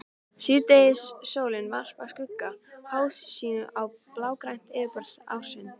Síðdegissólin varpar skuggum háhýsanna á blágrænt yfirborð árinnar.